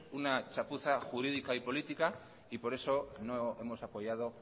una chapuza jurídica y política y por eso no hemos apoyado